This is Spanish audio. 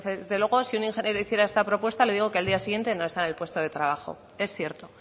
desde luego si un ingeniero hiciera esta propuesta le digo que al día siguiente no está en el puesto de trabajo es cierto